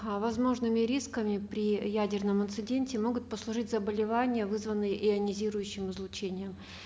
э возможными рисками при ядерном инциденте могут послужить заболевания вызванные ионизирующим излучением